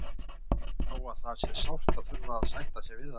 Þó að það sé sárt að þurfa að sætta sig við það.